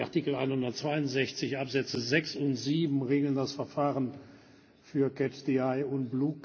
Artikel 162 Absätze 6 und 7 regeln das Verfahren für und